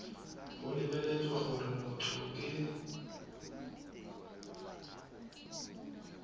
go lebeletswe gore motho ke